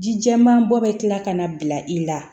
Ji jɛman bɔ bɛ kila ka na bila i la